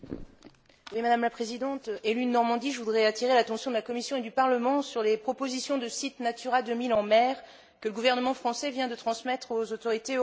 Madame la Présidente, élue de Normandie, je voudrais attirer l'attention de la Commission et du Parlement sur les propositions de sites Natura 2000 en mer que le gouvernement français vient de transmettre aux autorités européennes.